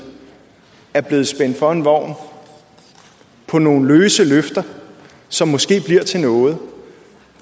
er blevet spændt for en vogn med nogle løse løfter som måske bliver til noget